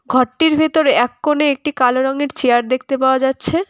ঘরটির ভেতরে এককোনে একটি কালো রঙের চেয়ার দেখতে পাওয়া যাচ্ছে।